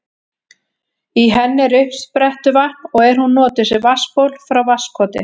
Í henni er uppsprettuvatn og er hún notuð sem vatnsból frá Vatnskoti.